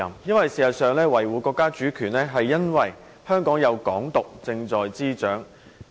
事實上，要求他維護國家主權，是因為香港的"港獨"運動正在滋長。